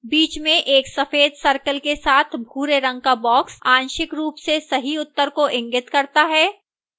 बीच में एक सफेद circle के साथ भूरे रंग का box आंशिक रूप से सही उत्तर को इंगित करता है